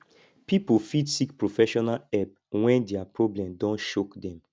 pipo fit seek professional help when their problem don choke them